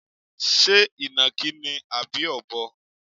Ṣé ìnàkí ni àbí Ọ̀bọ?